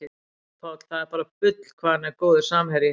Haukur Páll, það er bara bull hvað hann er góður samherji